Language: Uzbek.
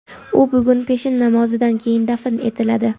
U bugun peshin namozidan keyin dafn etiladi.